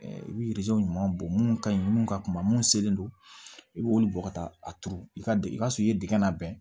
I bɛ ɲuman bɔ mun ka ɲi minnu ka kuma mun selen don i bɛ olu bɔ ka taa a turu i ka surun i ye digɛn labɛn